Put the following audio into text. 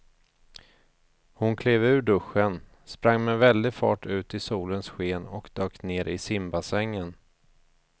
Hon klev ur duschen, sprang med väldig fart ut i solens sken och dök ner i simbassängen.